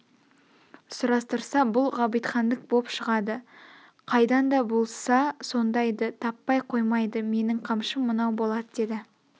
сұрастырса бұл ғабитхандік боп шығады қайдан да болса сондайды таппай қоймайды менің қамшым мынау болат деді